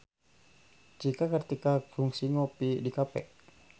Cika Kartika kungsi ngopi di cafe